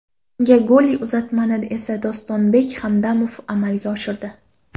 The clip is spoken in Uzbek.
Unga golli uzatmani esa Dostonbek Hamdamov amalga oshirdi.